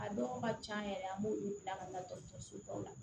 A dɔw ka can yɛrɛ an b'olu bila ka taa dɔgɔtɔrɔso baw la